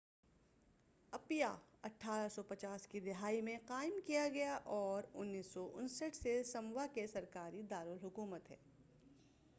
اپیا 1850 کی دہائی میں قائم کیا گیا اور 1959 سے سموا کی سرکاری دارالحکومت ہے